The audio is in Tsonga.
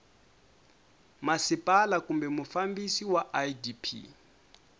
masipala kumbe mufambisi wa idp